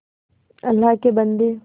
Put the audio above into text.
अल्लाह के बन्दे